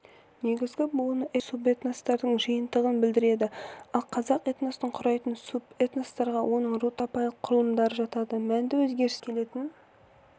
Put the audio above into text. негізгі буыны этнос субэтностардың жиынтығын білдіреді ал қазақ этносын құрайтын субэтностарға оның ру-тайпалық құрылымдары жатады мәнді өзгерістерге алып келетін